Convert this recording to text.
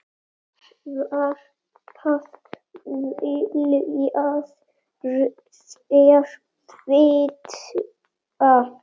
Hvað viljið þér vita?